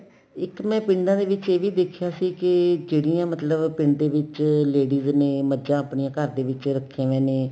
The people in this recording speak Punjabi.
ਇੱਕ ਮੈਂ ਪਿੰਡਾ ਦੇ ਵਿੱਚ ਏ ਵੀ ਦੇਖਿਆ ਸੀ ਕੀ ਜਿਹੜੀਆਂ ਮਤਲਬ ਪਿੰਡ ਦੇ ਵਿੱਚ ladies ਨੇ ਮੱਕਝਾ ਆਪਣੀਆਂ ਘਰ ਦੇ ਰੱਖੀਆਂ ਪਈਆਂ ਨੇ